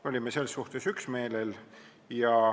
Me olime selles suhtes üksmeelel.